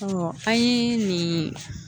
an ye nin